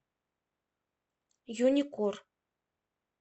юникор